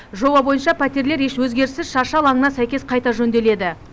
жоба бойынша пәтерлер еш өзгеріссіз шаршы алаңына сәйкес қайта жөнделеді